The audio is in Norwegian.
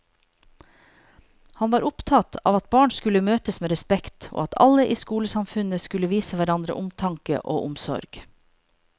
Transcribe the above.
Han var opptatt av at barn skulle møtes med respekt, og at alle i skolesamfunnet skulle vise hverandre omtanke og omsorg.